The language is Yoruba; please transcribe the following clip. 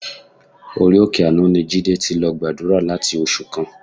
Orí òkè àánú ni Jídé ti lọ gbàdúrà láti oṣù kan.